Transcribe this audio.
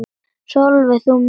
Sólveig: Þú mælir með þessu?